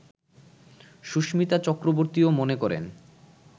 সুস্মিতা চক্রবর্তীও মনে করেন